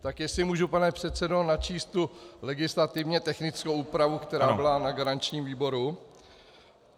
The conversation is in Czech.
Tak jestli můžu, pane předsedo, načíst tu legislativně technickou úpravu, která byla na garančním výboru?